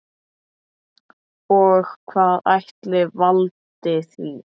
Og hvað ætli valdi því?